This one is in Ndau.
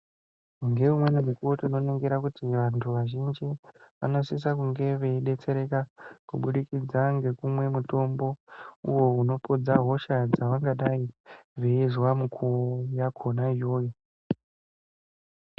Ngeumweni mukuwo tinoningira vantu vazhinji vanosisa kunge veidetsereka kubudikidza ngekumwe mutombo uyo unopodza hosha dzavangadai veizwa mukuwo yakhona iyoyo.